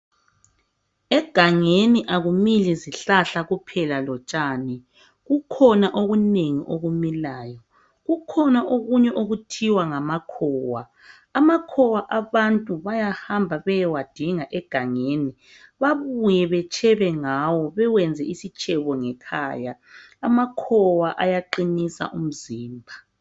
izihlahla kuphela lemali obunengi obumilayo kukhona obunye obuthiwa ngamakhowa amakhowa abantu bayahamba beyewadinga emagangeni bayube betshebe ngawo bayawayenza isitshebo ngekhaya amakhowa ayaqhinisa imizimba